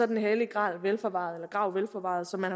den hellige grav velforvaret grav velforvaret som man